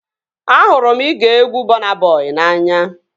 Ahụrụ m igee egwu Bọna Bọi n'anya